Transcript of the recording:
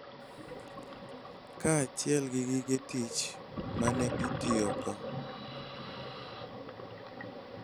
Kaachiel gi gige tich ma ne itiyogo.